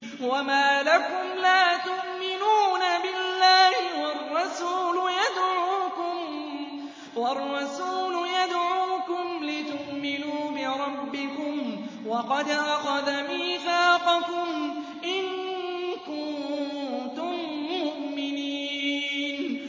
وَمَا لَكُمْ لَا تُؤْمِنُونَ بِاللَّهِ ۙ وَالرَّسُولُ يَدْعُوكُمْ لِتُؤْمِنُوا بِرَبِّكُمْ وَقَدْ أَخَذَ مِيثَاقَكُمْ إِن كُنتُم مُّؤْمِنِينَ